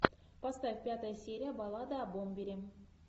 поставь пятая серия балада о бомбере